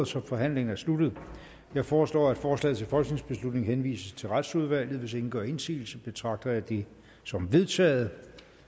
så forhandlingen er sluttet jeg foreslår at forslaget til folketingsbeslutning henvises til retsudvalget hvis ingen gør indsigelse betragter jeg det som vedtaget